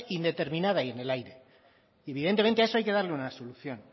indeterminada y en el aire evidentemente a eso hay que darle una solución